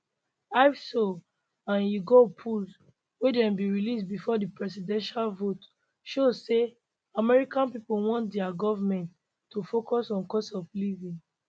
ipsos and yougov polls wey dem bin release before di presidential vote show say america pipo want dia goment to focus on cost of living